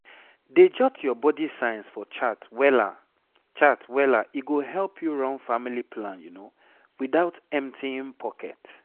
dey jot your body signs for chart wella chart wella e go help you run family plan without emptying pocket